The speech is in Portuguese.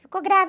Ficou grávida?